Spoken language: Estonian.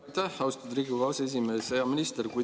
Aitäh, austatud Riigikogu aseesimees!